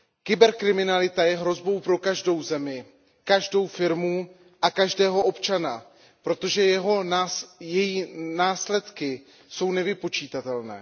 Kyberkriminalita je hrozbou pro každou zemi, každou firmu a každého občana, protože její následky jsou nevypočitatelné.